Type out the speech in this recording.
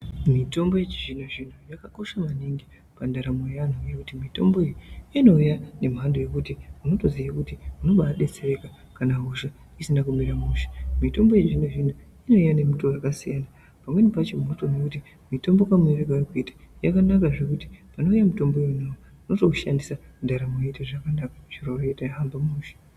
Mitombo yechizvinozvino yakakosha maningi pandaramo yevantu mitombo inouya nemhando yekuti unotoziya kuti unobadetsereka kana hosha isina kumira mushe mitombo yechizvinozvino inouya iri mumishonga yakasiyanasiyana pamweni pacho unotoona kuti mitombo iyi yakanaka zvekuti panouya unotoishandisa ndaramo yoita zvakanaka zviro zvotohamba mushe.